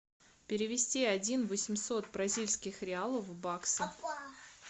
перевести один восемьсот бразильских реалов в баксы